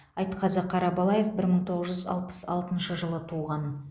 айтқазы қарабалаев бір мың тоғыз жүз алпыс алтыншы жылы туған